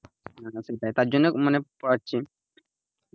তার জন্য মানে পড়াচ্ছি,